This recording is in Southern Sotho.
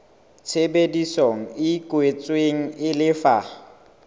tshebedisano e kwetsweng e lefa